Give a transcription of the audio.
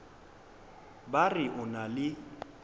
ba re o na le